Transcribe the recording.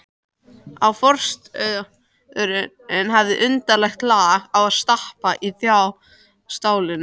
Forystusauðurinn hafði undarlegt lag á að stappa í þá stálinu.